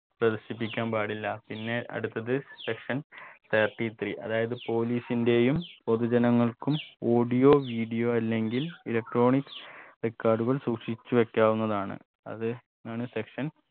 പ്രദർശിപ്പിക്കാൻ പാടില്ല പിന്നെ അടുത്തത് section thirty three അതായത് police ന്റെയും പൊതുജനങ്ങൾക്കും audio video അല്ലെങ്കിൽ electronic record കൾ സൂക്ഷിച്ച് വെക്കാവുന്നതാണ് അത് ആണ് section